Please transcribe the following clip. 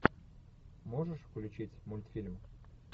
можешь включить мультфильм